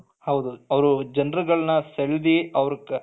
ಹೌದು ಅವರು ಜನರುಗಳನ್ನು ಸೆಲ್ದಿ ಅವರು